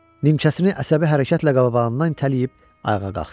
Nimçəsini əsəbi hərəkətlə qabağından itələyib ayağa qalxdı.